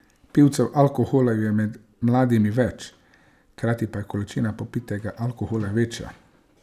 Pivcev alkohola je med mladimi več, hkrati pa je količina popitega alkohola večja.